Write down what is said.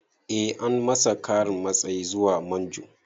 Eh an masa ƙarin matsayi zuwa manjo